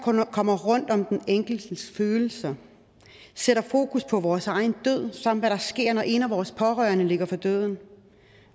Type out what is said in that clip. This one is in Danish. kommer rundt om den enkeltes følelser og sætter fokus på vores egen død samt hvad der sker når en af vores pårørende ligger for døden